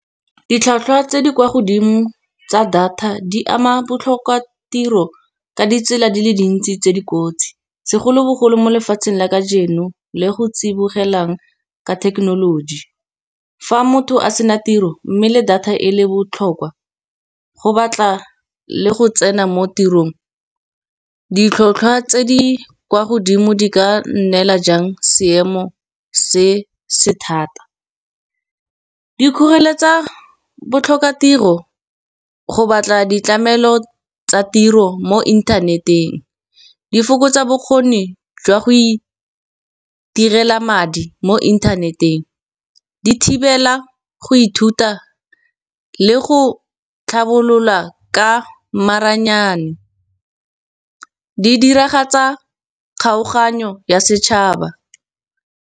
Ditlhwatlhwa tse di kwa godimo tsa data di ama botlhokwa tiro ka ditsela di le dintsi tse di kotsi, segolobogolo mo lefatsheng la ka jeno le go tsibogelang ka thekenoloji. Fa motho a sena tiro mme le data e le botlhokwa, go batla le go tsena mo tirong, ditlhotlhwa tse di kwa godimo di ka neela jang seemo se se thata. Dikgoreletsi tsa botlhokatiro go batla ditlamelo tsa tiro mo inthaneteng, di fokotsa bokgoni jwa go itirela madi mo inthaneteng. Di thibela go ithuta le go tlhabolola ka maranyane, di diragatsa kgaoganyo ya setšhaba.